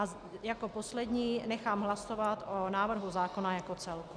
A jako poslední nechám hlasovat o návrhu zákona jako celku.